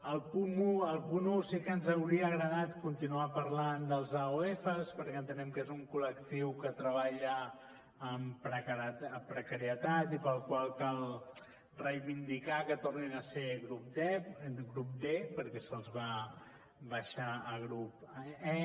al punt un sí que ens hauria agradat continuar parlant dels aofs perquè entenem que és un col·lectiu que treballa en precarietat i pel qual cal reivindicar que tornin a ser grup d perquè se’ls va baixar a grup e